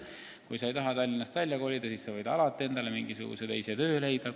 Kui sa ei taha Tallinnast ära kolida, siis võid alati endale mingisuguse teise töö leida.